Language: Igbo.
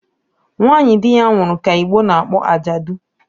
Nwanyị di ya nwụrụ ka Igbo na-akpọ ajadụ